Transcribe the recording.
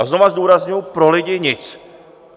A znovu zdůrazňuji: Pro lidi nic.